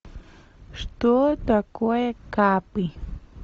что такое капы